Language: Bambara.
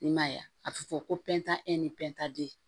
I ma ye wa a tɛ fɔ ko pɛntan e ni pɛntan de